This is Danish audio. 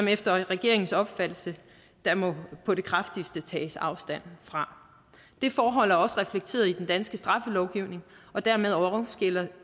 efter regeringens opfattelse på det kraftigste må tages afstand fra det forhold er også reflekteret i den danske straffelovgivning og dermed